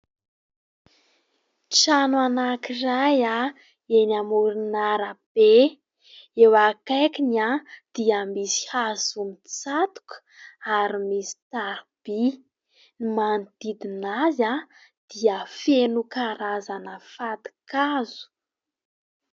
Trano anankiray eny amoron'arabe, eo akaikiny dia misy hazo mitsatoka ary misy tariby, ny manodidina azy dia feno karazana fatin-kazo.